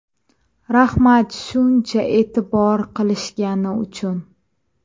Rahmat shuncha e’tibor qilishgani uchun”.